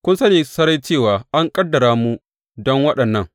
Kun sani sarai cewa an ƙaddara mu don waɗannan.